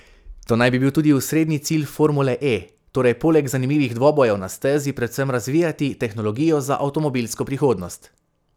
To naj bi bil tudi osrednji cilj formule E, torej poleg zanimivih dvobojev na stezi predvsem razvijati tehnologijo za avtomobilsko prihodnost.